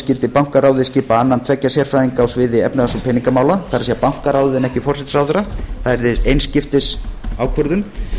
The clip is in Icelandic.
skyldi bankaráðið skipa annan tveggja sérfræðinga á sviði efnahags og peningamála það er bankaráðið en ekki forsætisráðherra það yrði eins skiptis ákvörðun